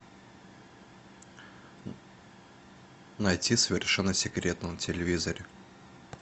найти совершенно секретно на телевизоре